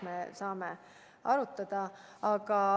Me saame seda arutada.